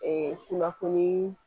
Ee kunnafoni